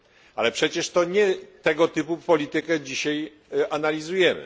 Ale przecież to nie tego typu politykę dzisiaj analizujemy!